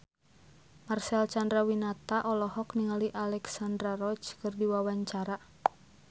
Marcel Chandrawinata olohok ningali Alexandra Roach keur diwawancara